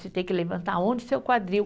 Você tem que levantar onde o seu quadril.